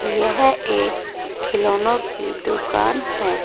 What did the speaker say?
यह एक खिलौनो की दुकान है।